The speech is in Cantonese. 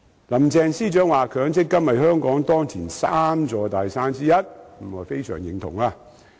林鄭司長說強積金是香港當前3座大山之一，我非常認同。